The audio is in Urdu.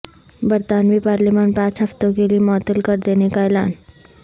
برطانوی پارلیمان پانچ ہفتوں کے لیے معطل کر دینے کا اعلان